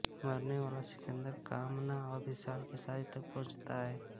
मरने वाला सिकन्दर कामना और विशाल की शादी तक पहुंचता है